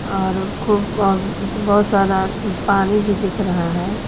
और खूब अ बहुत सारा पानी भी दिख रहा है।